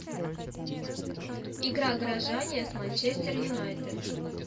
игра горожане с манчестер юнайтед